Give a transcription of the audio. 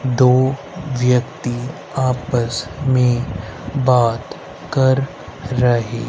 दो व्यक्ती आपस में बात कर रहे--